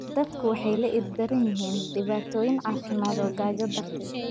Dadku waxay la ildaran yihiin dhibaatooyin caafimaad oo gaajo darteed.